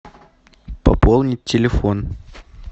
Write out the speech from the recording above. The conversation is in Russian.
пополнить телефон